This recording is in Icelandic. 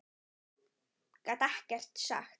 Gat ekkert sagt.